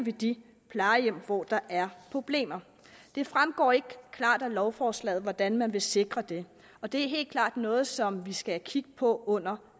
de plejehjem hvor der er problemer det fremgår ikke klart af lovforslaget hvordan man vil sikre det og det er helt klart noget som vi skal kigge på under